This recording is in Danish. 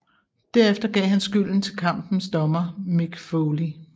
Derefter gav han skylden til kampens dommer Mick Foley